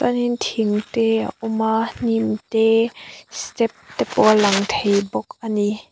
thing te a awm a hnim te step te pawh a lang thei bawk a ni.